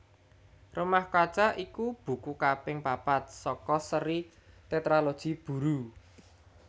Rumah Kaca iku buku kaping papat saka séri Tétralogi Buru